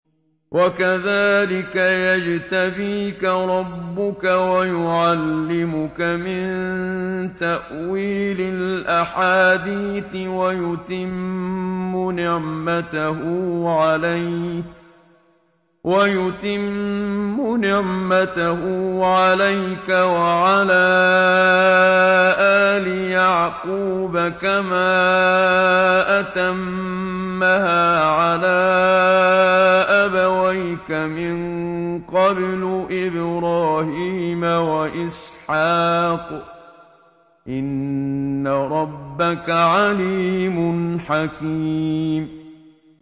وَكَذَٰلِكَ يَجْتَبِيكَ رَبُّكَ وَيُعَلِّمُكَ مِن تَأْوِيلِ الْأَحَادِيثِ وَيُتِمُّ نِعْمَتَهُ عَلَيْكَ وَعَلَىٰ آلِ يَعْقُوبَ كَمَا أَتَمَّهَا عَلَىٰ أَبَوَيْكَ مِن قَبْلُ إِبْرَاهِيمَ وَإِسْحَاقَ ۚ إِنَّ رَبَّكَ عَلِيمٌ حَكِيمٌ